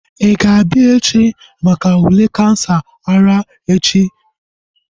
Ị ga-abịa echi maka ule kansa ara echi? She asked